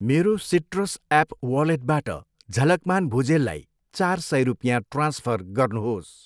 मेरो Citrus app वालेटबाट झलकमान भुजेललाई चार सय रुपियाँ ट्रान्सफर गर्नुहोस्।